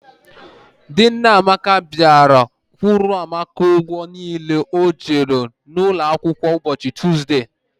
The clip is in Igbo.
Di nne Amaka bịara kwụọrọ Amaka ụgwọ niile o ji n'ụlọ akwụkwọ ụbọchị Tuzde.